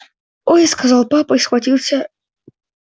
ой сказал папа и схватился